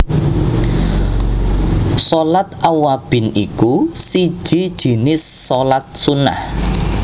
Shalat Awwabin iku siji jinis shalat Sunnah